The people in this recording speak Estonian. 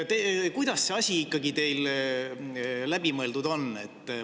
Kuidas see asi teil ikkagi läbi mõeldud on?